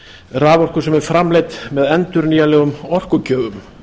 raforku sem er framleidd er með endurnýjanlegum orkugjöfum